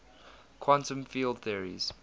quantum field theories